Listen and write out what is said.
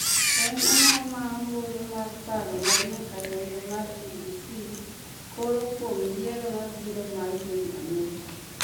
En ang'o ma ombulu mar paro mar nyakalondo mar b.b.c koro kuom yiero mabiro mar piny amerka